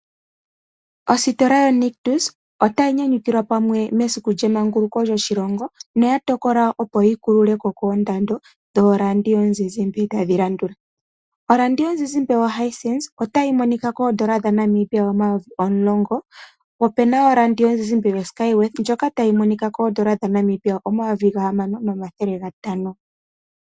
Ositola yoNictus otayi nyanyukilwa pamwe netyapulo lyemanguluko lyoshilongo. Noya tokola opo yi kulule ko koondando dhoradio yomuzizimbe tadhi landula. Oradio yomuzizimba yo Hisense otayi monika koodollar dhaNamibia omayovi omulongo. Po opena oradio yomuzizimba yoSkyworth ndjoka tayi monika koodollar dhaNamibia omayovi gahamano nomathele gatano.